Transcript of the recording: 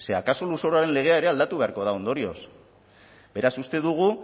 akaso lurzoruaren legea ere aldatu beharko da ondorioz beraz uste dugu